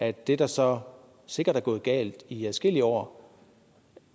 at det der så sikkert er gået galt i adskillige år